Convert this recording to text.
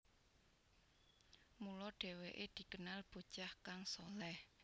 Mula dheweke dikenal bocah kang shaleh